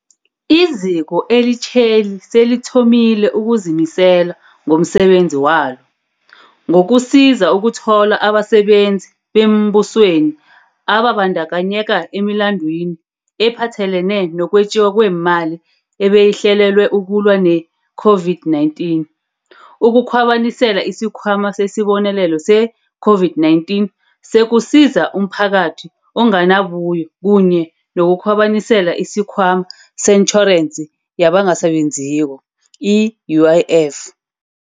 Iziko elitjheli selithomile ukuzimisela ngomsebenzi walo, ngokusiza ukuthola abasebenzi beembusweni ababandakanyeka emilandwini ephathelene nokwetjiwa kwemali ebeyihlelelwe ukulwa ne-COVID-19, ukukhwabanisela isikhwama sesiBonelelo se-COVID-19 sokuSiza umPhakathi oNganabuyo kunye nokukhwabanisela isiKhwama seTjhorensi yabangasaSebenziko, i-UIF.